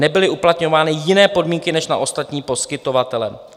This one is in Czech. nebyly uplatňovány jiné podmínky než na ostatní poskytovatele.